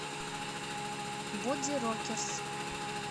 бодирокерс